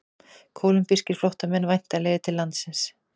Kólumbískir flóttamenn væntanlegir til landsins